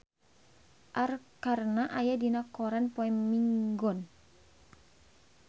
Arkarna aya dina koran poe Minggon